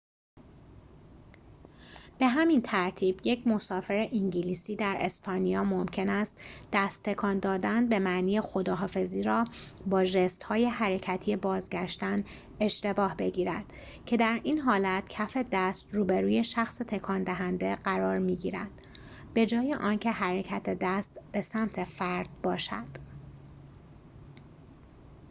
به همین ترتیب، یک مسافر انگلیسی در اسپانیا ممکن است دست تکان دادن به معنی خداحافظی را با ژست حرکتی بازگشتن اشتباه بگیرد که در این حالت کف دست روبروی شخص تکان دهنده قرار می‌گیرد به‌جای آنکه حرکت دست به سمت فرد باشد